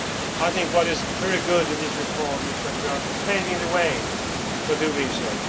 I think that what is very good in this report is that we are paving the way for doing so.